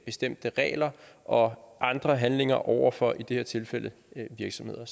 bestemte regler og andre handlinger over for i det her tilfælde virksomheder